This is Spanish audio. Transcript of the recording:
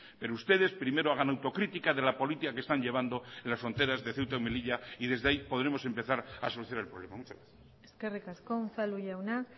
pero ustedes primero hagan autocrítica de la política que están llevando en las fronteras de ceuta y melilla y desde ahí podremos empezar a solucionar el problema muchas gracias eskerrik asko unzalu jauna